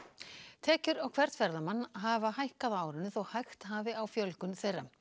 tekjur á hvern ferðamann hafa hækkað á árinu þó hægt hafi á fjölgun þeirra